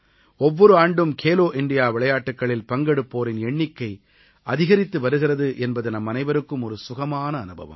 ஒவ்வொரு ஆண்டும் கேலோ இண்டியா விளையாட்டுக்களில் பங்கெடுப்போரின் எண்ணிக்கை அதிகரித்து வருகிறது என்பது நம்மனைவருக்கும் ஒரு சுகமான அனுபவம்